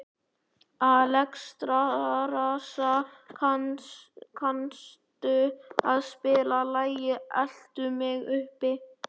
Alexstrasa, kanntu að spila lagið „Eltu mig uppi“?